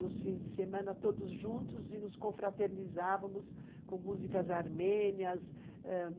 nos fins de semana, todos juntos, e nos confraternizávamos com músicas armênias, ãh,